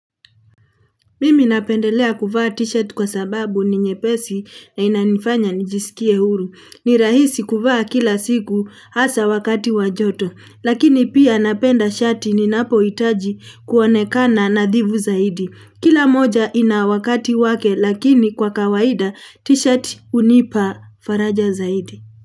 Mimi napendelea kuvaa t-shirt kwa sababu ni nyepesi na inanifanya nijisikie huru. Ni rahisi kuvaa kila siku hasa wakati wa joto. Lakini pia napenda shati ninapohitaji kuonekana nafhifu zaidi. Kila moja ina wakati wake lakini kwa kawaida t-shirt hunipa faraja zaidi.